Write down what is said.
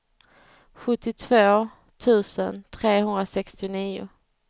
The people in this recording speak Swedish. sjuttiotvå tusen trehundrasextionio